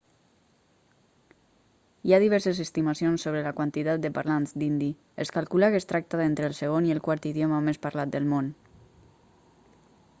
hi ha diverses estimacions sobre la quantitat de parlants d'hindi es calcula que es tracta d'entre el segon i el quart idioma més parlat del món